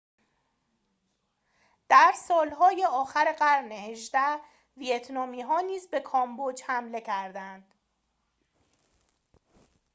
در سالهای آخر قرن ۱۸ ویتنامی ها نیز به کامبوج حمله کردند